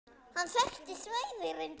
Hann þekkti svæðið reyndar vel.